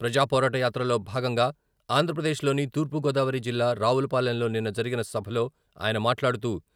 ప్రజాపోరాట యాత్రలో భాగంగా ఆంధ్రప్రదేశ్లోని తూర్పుగోదావరి జిల్లా రావులపాలెంలో నిన్న జరిగిన సభలో ఆయన మాట్లాడుతూ..